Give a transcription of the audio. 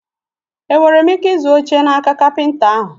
E nwere m ike ịzụ oche n'aka kapịnta ahụ?